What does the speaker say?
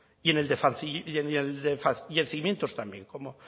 y en el de fallecimientos también